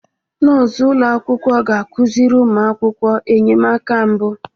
Nọọsụ ụlọ akwụkwọ ga-akụziri ụmụ akwụkwọ enyemaka mbụ.